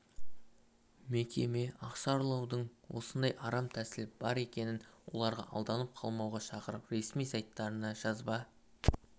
мекеме ақша ұрлаудың осындай арам тәсілі бар екенін оларға алданып қалмауға шақырып ресми сайттарына жазба